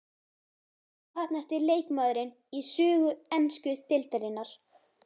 Óheppnasti leikmaðurinn í sögu ensku deildarinnar?